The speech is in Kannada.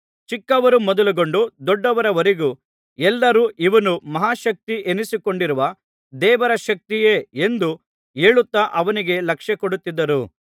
ಚಿಕ್ಕವರು ಮೊದಲುಗೊಂಡು ದೊಡ್ಡವರವರೆಗೂ ಎಲ್ಲರೂ ಇವನು ಮಹಾಶಕ್ತಿ ಎನಿಸಿಕೊಂಡಿರುವ ದೇವರ ಶಕ್ತಿಯೇ ಎಂದು ಹೇಳುತ್ತಾ ಅವನಿಗೆ ಲಕ್ಷ್ಯಕೊಡುತ್ತಿದ್ದರು